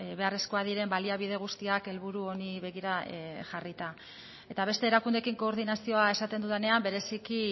beharrezkoak diren baliabide guztiak helburu honi begira jarrita eta beste erakundeekin koordinazioa esaten dudanean bereziki